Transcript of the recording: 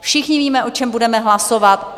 Všichni víme, o čem budeme hlasovat.